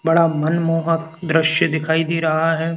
बड़ा मनमोहक दृश्य दिखाई दे रहा हैं।